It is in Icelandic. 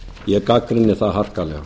ég gagnrýni það harkalega